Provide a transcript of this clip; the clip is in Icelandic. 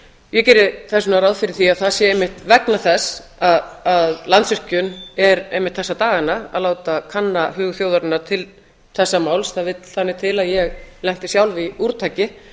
ég geri þess vegna ráð fyrir því að það sé einmitt vegna þess að landsvirkjun er einmitt þessa dagana að láta kanna hug þjóðarinnar til þessa máls það vill þannig til að ég lenti sjálf í úrtaki